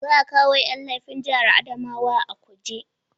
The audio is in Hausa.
Za a kawo Yan laifi jihar Adamawa a kuje